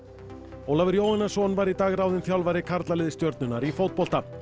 Ólafur Jóhannesson var í dag ráðinn þjálfari karlaliðs Stjörnunnar í fótbolta